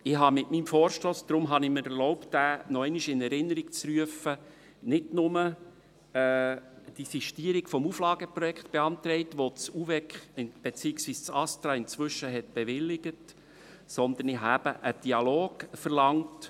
Ich habe mit meinem Vorstoss – deshalb habe ich mir erlaubt, diesen nochmals in Erinnerung zu rufen – nicht nur die Sistierung des Auflageprojekts beantragt, die das Eidgenössische Departement für Umwelt, Verkehr, Energie und Kommunikation (UVEK) beziehungsweise das Bundesamt für Strassen (ASTRA) inzwischen bewilligt hat, sondern ich habe einen Dialog verlangt.